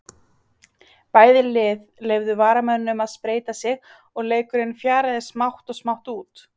Bæði lið leyfðu varamönnum að spreyta sig og leikurinn fjaraði smátt og smátt út.